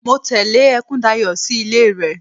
Mo tẹle Ekundayo sí ilé rẹ.